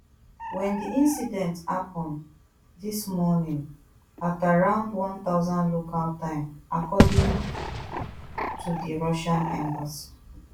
whendi incident happun dis morning at around one thousand local time according to di russian embassy